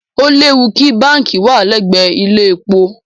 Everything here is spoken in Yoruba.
Ó léwu kí báǹkì wà lẹ́gbẹ̀ẹ́ ilé-epo.